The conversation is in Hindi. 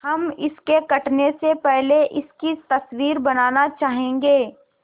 हम इसके कटने से पहले इसकी तस्वीर बनाना चाहेंगे